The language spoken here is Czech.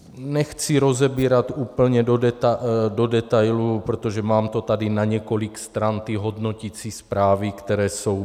Nechci rozebírat úplně do detailů, protože mám to tady na několik stran, ty hodnoticí zprávy, které jsou.